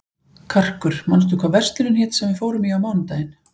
Karkur, manstu hvað verslunin hét sem við fórum í á mánudaginn?